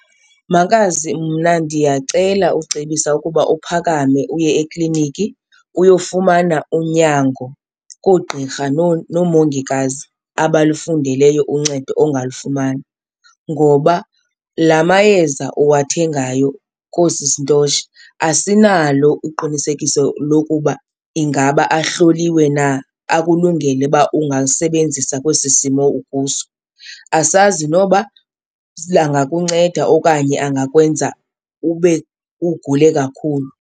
Makazi, mna ndiyacela ucebisa ukuba uphakame uye ekliniki uyofumana unyango koogqirha noomongikazi abalufundeleyo uncedo ongalufumana. Ngoba la mayeza uwathengayo koosisi Ntoshi asinalo uqinisekiso lokuba ingaba ahloliwe na akulungele uba ungalisebenzisa kwesi simo ukuso. Asazi noba angakunceda okanye angakwenza ube ugule kakhulu.